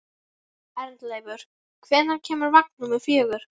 Arnleifur, hvenær kemur vagn númer fjögur?